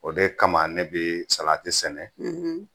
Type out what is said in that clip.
O de kama ne bɛ salati sɛnɛ